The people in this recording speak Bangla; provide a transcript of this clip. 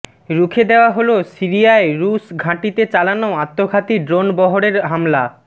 রুখে দেয়া হলো সিরিয়ায় রুশ ঘাঁটিতে চালানো আত্মঘাতী ড্রোন বহরের হামলা